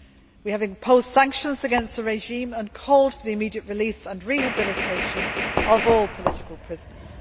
We have imposed sanctions against the regime and called for the immediate release and rehabilitation of all political prisoners.